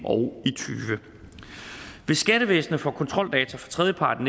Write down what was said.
og tyve hvis skattevæsenet får kontroldata fra tredjepart